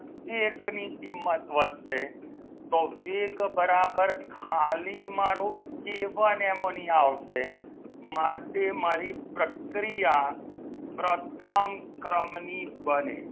એક ની કિંમત વધશે તો વેગ બરાબર ખાલી મારુ કે વન એમોનિયા આવશે માટે મારી પ્રક્રિયા પ્રથમ ક્રમની બને.